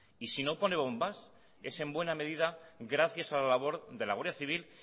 y si no pone bombas es en buena medida gracias a la labor de la guardia civil